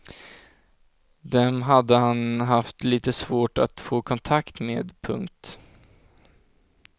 Dem hade han haft lite svårt att få kontakt med. punkt